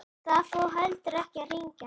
Það fór heldur ekki að rigna.